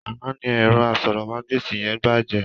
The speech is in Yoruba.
Àná ni ẹ̀rọ asọ̀rọ̀mágbèsì yẹn bàjẹ́.